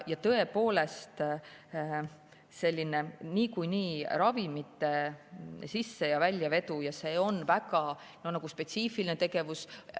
Tõepoolest, ravimite sisse- ja väljavedu on väga spetsiifiline tegevus.